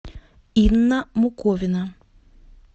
инна муковина